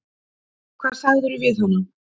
Hvað sagðirðu við hana?